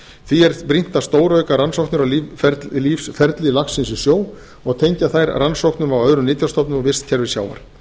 því er brýnt að stórauka rannsóknir á lífsferli laxins í sjó og tengja þær rannsóknum á öðrum nytjastofnum og vistkerfi sjávar